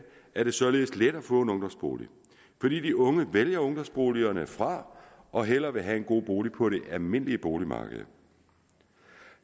er det således let at få en ungdomsbolig fordi de unge vælger ungdomsboligerne fra og hellere vil have en god bolig på det almindelige boligmarked